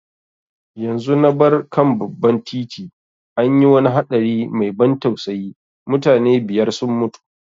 Yanzu na bar kan babban titi, an yi wani haɗari mai ban tausayi, mutane biyar sun mutu.